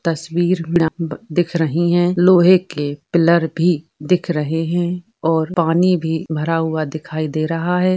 तस्वीर दिख रहीं हैं लोहे के पिलर भी दिख रहे हैं और पानी भी भरा हुआ दिखाई दे रहा है।